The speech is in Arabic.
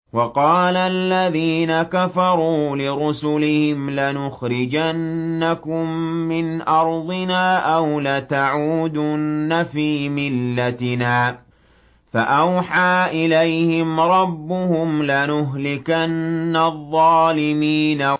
وَقَالَ الَّذِينَ كَفَرُوا لِرُسُلِهِمْ لَنُخْرِجَنَّكُم مِّنْ أَرْضِنَا أَوْ لَتَعُودُنَّ فِي مِلَّتِنَا ۖ فَأَوْحَىٰ إِلَيْهِمْ رَبُّهُمْ لَنُهْلِكَنَّ الظَّالِمِينَ